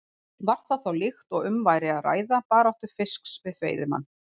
Var það þá líkt og um væri að ræða baráttu fisks við veiðimann.